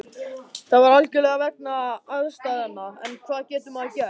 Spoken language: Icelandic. Það var algjörlega vegna aðstæðna, en hvað getur maður gert?